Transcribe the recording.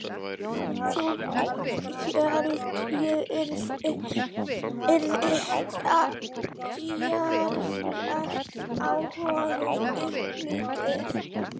Þá held ég yrði djarflegt á honum upplitið!